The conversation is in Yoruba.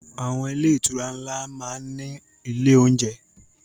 Àwọn ilé-ìtura ńlá máa ń ní ilé-oúnjẹ..